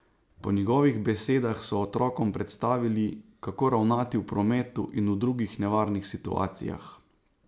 Po njegovih besedah so otrokom predstavili, kako ravnati v prometu in v drugih nevarnih situacijah.